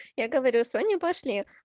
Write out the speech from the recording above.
я говорю соня пошли